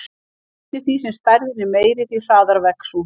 Eftir því sem stærðin er meiri, því hraðar vex hún.